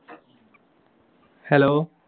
hello